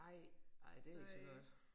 Ej ej det ikke så godt